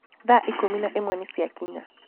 Thaa ikũmi na ĩmwe nĩ ciakinya.